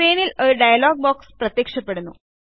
സ്ക്രീനിൽ ഒരു dialog box പ്രത്യക്ഷപ്പെടുന്നു